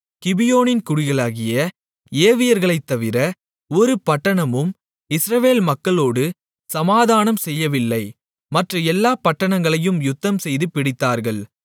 கிபியோனின் குடிகளாகிய ஏவியர்களைத்தவிர ஒரு பட்டணமும் இஸ்ரவேல் மக்களோடு சமாதானம் செய்யவில்லை மற்ற எல்லாப் பட்டணங்களையும் யுத்தம்செய்து பிடித்தார்கள்